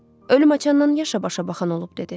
Ölüm açandan yaşa başa baxan olub, dedi.